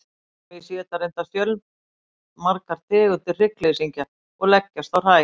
hagamýs éta reyndar fjölmargar tegundir hryggleysingja og leggjast á hræ